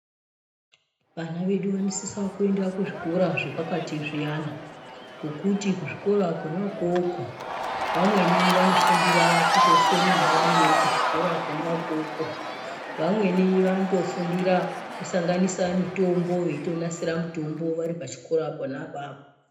Vana vedu vanosisawo kuenda kuzvikora zvepakati zviyana. Ngokuti kuzvikora kwona ukwokwo, vamweni vanofundira kutosona variyo kuzvikora kwona ukwokwo. Vamweni vanotofundira kusanganisa mitombo veitonasira mutombo vari pachikora pona apapo.